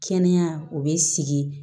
Kɛnɛya o bɛ sigi